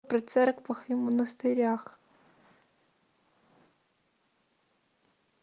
при церквах и монастырях